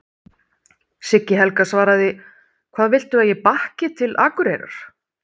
Siggi Helga svaraði: Hvað viltu að ég bakki til Akureyrar?